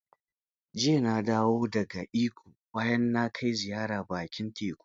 Jiya na dawo da ga Ikko bayan na kai ziyara bakin teku.